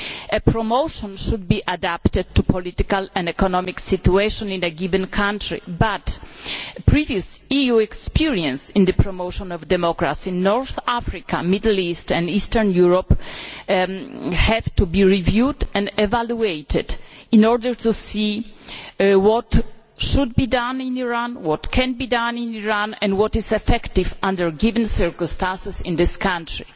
A promotion should be adapted to the political and economic situation in a given country, but previous EU experience in the promotion of democracy in North Africa, the Middle East and Eastern Europe has to be reviewed and evaluated in order to see what should be done in Iran, what can be done in Iran and what is effective under given circumstances in this country.